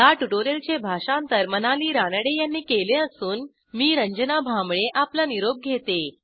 ह्या ट्युटोरियलचे भाषांतर मनाली रानडे यांनी केले असून मी रंजना भांबळे आपला निरोप घेते